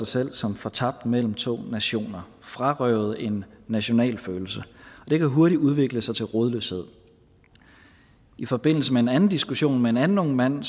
sig som fortabt mellem to nationer frarøvet en nationalfølelse det kan hurtigt udvikle sig til rodløshed i forbindelse med en anden diskussion med en anden ung mand